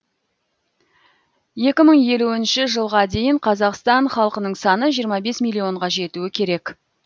екі мың елуінші жылға дейін қазақстан халқының саны жиырма бес миллионға жетуі керек